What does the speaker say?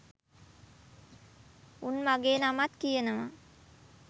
උන් මගේ නමත් කියනවා